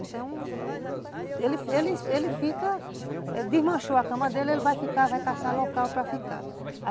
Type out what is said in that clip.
Então, ele ele ele fica, desmanchou a cama dele, ele vai ficar, vai caçar local para ficar.